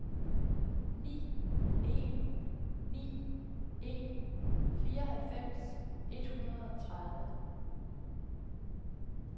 ni en ni en fireoghalvfems et hundrede og tredive